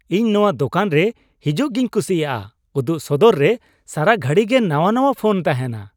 ᱤᱧ ᱱᱚᱣᱟ ᱫᱳᱠᱟᱱ ᱨᱮ ᱦᱤᱡᱩᱜᱤᱧ ᱠᱩᱥᱤᱭᱟᱜᱼᱟ ᱾ ᱩᱫᱩᱜ ᱥᱚᱫᱚᱨᱨᱮ ᱥᱟᱨᱟ ᱜᱷᱩᱲᱤᱜᱮ ᱱᱟᱣᱟ ᱱᱟᱣᱟ ᱯᱷᱳᱱ ᱛᱟᱦᱮᱱᱟ ᱾